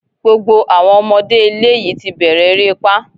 Gbogbo àwọn ọmọdé ilé yìí ti bẹ̀rẹ̀ erépá